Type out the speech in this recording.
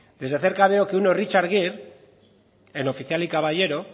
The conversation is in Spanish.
desde cerca veo que uno es richard gere en oficial y caballero